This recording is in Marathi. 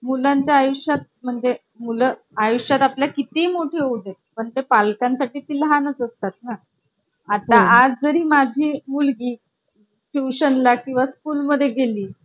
कधी ना कधी झालेलाच असेल किंवा. काय नाही याची कधी ना कधी गरज पडेल तर हे लक्षात ठेवा की जास्तच्या झळा लागू शकतो. आणि device मध्ये customization करणे आणि hardware upgrade